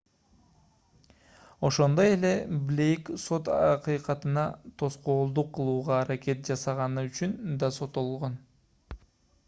ошондой эле блейк сот акыйкатына тоскоолдук кылууга аракет жасаганы үчүн да соттолгон